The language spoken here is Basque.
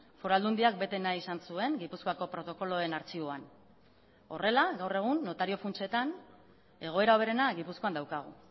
foru aldundiak bete nahi izan zuen gipuzkoako protokoloen artxiboan horrela gaur egun notario funtsetan egoera hoberena gipuzkoan daukagu